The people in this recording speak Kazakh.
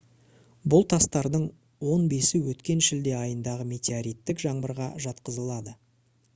бұл тастардың он бесі өткен шілде айындағы метеориттік жаңбырға жатқызылады